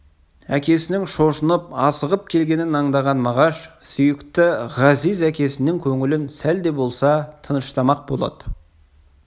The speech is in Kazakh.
әкесінің шошынып асығып келгенін аңдаған мағашсүйікті ғазиз әкесінің көңілін сәл де болса тыныштамақ болады